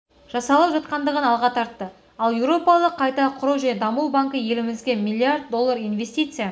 жасалып жатқандығын алға тартты ал еуропалық қайта құру және даму банкі елімізге миллиард доллар инвестиция